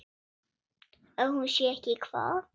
Að hún sé ekki hvað?